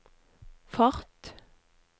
fart